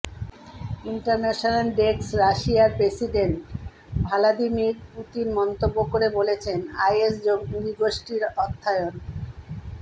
international desk রাশিয়ার president Vladimir Putin মন্তব্য করে বলেছেন আইএস জঙ্গিগোষ্ঠীর অর্থায়ন